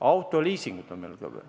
Autoliisingud on ka veel.